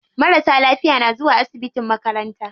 Marasa lafiya na zuwa asibitin makaranta.